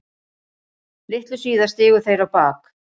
Litlu síðar stigu þeir á bak.